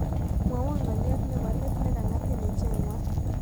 Mwawon ng'oliot ne po let negan'gatin icheng'wan